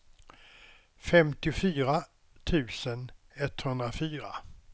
femtiofyra tusen etthundrafyra